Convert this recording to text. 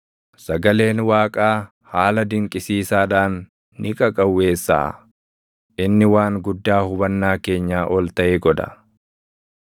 Sagaleen Waaqaa haala dinqisiisaadhaan ni qaqawweessaʼa; inni waan guddaa hubannaa keenyaa ol taʼe godha.